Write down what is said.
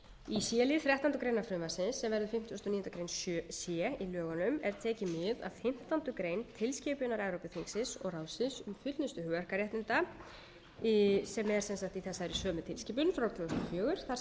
í c lið þrettándu greinar frumvarpsins sem verður fimmtugasta og níundu grein c í lögunum er tekið mið af fimmtán grein tilskipunar evrópuþingsins og ráðsins um fullnustu hugverkaréttinda sem er sem sagt í þessari sömu tilskipun frá tvö þúsund og fjögur þar sem er að finna heimild til að